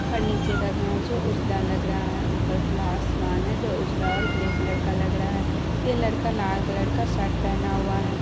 और नीचे का घास जो उजला लग रहा है और ऊपर खुला आसमान है जो उजला और ग्रे कलर का लग रहा है ये लड़का लाल कलर का शर्ट पेहना हुआ है ।